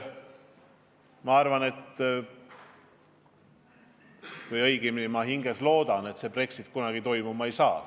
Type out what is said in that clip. Ma hinges väga loodan, et Brexit kunagi toimuma ei saa.